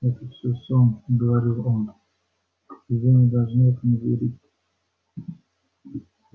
это все сон говорил он и вы не должны этому верить